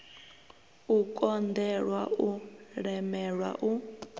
u konḓelwa u lemelwa u